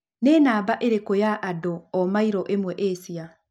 nĩnamba ĩrikũ ya andũ o mairo ĩmwe asia